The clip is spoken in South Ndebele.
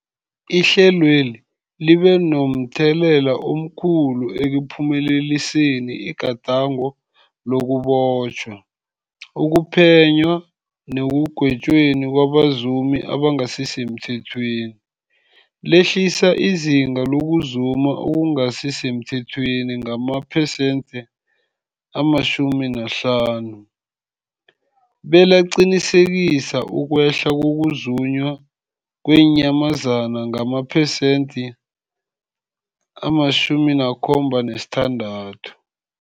Ihlelweli libe momthelela omkhulu ekuphumeleliseni igadango lokubotjhwa, ukuphenywa nekugwetjweni kwabazumi abangasisemthethweni, lehlisa izinga lokuzuma okungasi semthethweni ngamaphesenthe-50, belaqinisekisa ukwehla kokuzunywa kweenyamazana ngamaphesenthe-76.